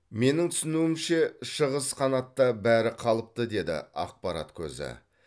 менің түсінуімше шығыс қанатта бәрі қалыпты деді ақпарат көзі